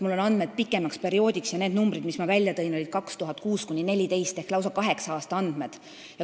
Mul on andmed pikema perioodi kohta: arvud, mis ma välja tõin, olid perioodi 2006–2014 ehk lausa kaheksa aasta kohta.